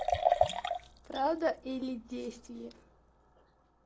правда или действие